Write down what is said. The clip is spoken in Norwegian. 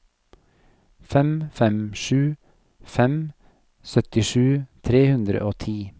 fem fem sju fem syttisju tre hundre og ti